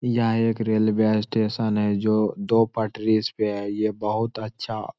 यहाँ एक railway station है जो दो पटरीस पे है ये बहुत अच्छा --